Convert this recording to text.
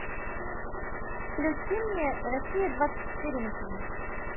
включи мне россия двадцать четыре на ти ви